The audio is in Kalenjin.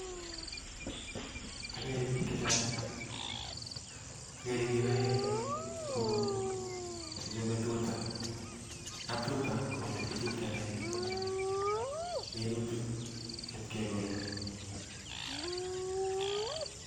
Agere biik chechang, agere biik oeng somok chechobe tutaan kaptutaa koelekigolen tuguuk